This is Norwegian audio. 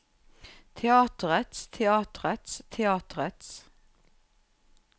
teatrets teatrets teatrets